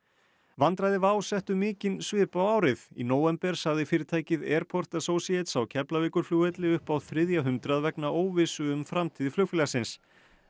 vandræði settu mikinn svip á árið í nóvember sagði fyrirtækið Airport Associates á Keflavíkurflugvelli upp á þriðja hundrað vegna óvissu um framtíð flugfélagsins